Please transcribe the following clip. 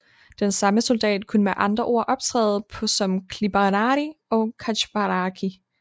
Den samme soldat kunne med andre ord optræde på som Clibanarii og cataphractii